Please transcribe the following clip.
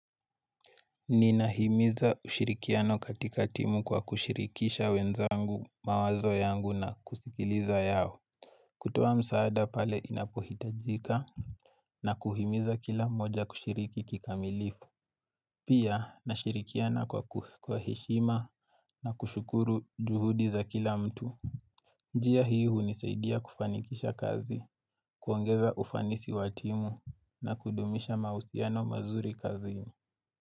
Ninahimiza ushirikiano katika timu kwa kushirikisha wenzangu mawazo yangu na kusikiliza yao kutoa msaada pale inapohitajika na kuhimiza kila mmoja kushiriki kikamilifu Pia nashirikiana kwa heshima na kushukuru juhudi za kila mtu njia hii hunisaidia kufanikisha kazi kuongeza ufanisi wa timu na kudumisha mahusiano mazuri kazini.